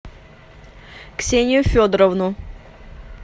ксению федоровну